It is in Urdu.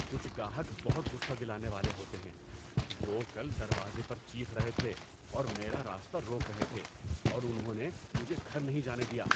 کچھ گاہک بہت غصہ دلانے والے ہوتے ہیں۔ وہ کل دروازے پر چیخ رہے تھے اور میرا راستہ روک رہے تھے، اور انہوں نے مجھے گھر نہیں جانے دیا!